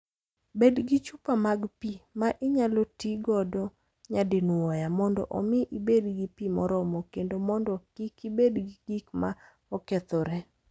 Bed gi chupa mag pi ma inyalo ti godo nyadinwoya mondo omi ibed gi pi moromo kendo mondo kik ibed gi gik ma okethore.